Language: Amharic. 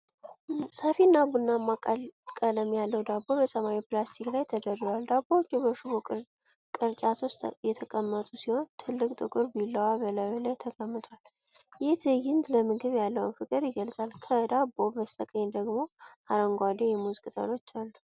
ሰፊና ቡናማ ቀለም ያለው ዳቦ በሰማያዊ ፕላስቲክ ላይ ተደርድሯል። ዳቦዎቹ በሽቦ ቅርጫት ውስጥ የተቀመጡ ሲሆን፣ ትልቅ ጥቁር ቢላዋ በላዩ ላይ ተቀምጧል። ይህ ትዕይንት ለምግብ ያለውን ፍቅር ይገልጻል። ከዳቦው በስተቀኝ ደግሞ አረንጓዴ የሙዝ ቅጠሎች አሉ።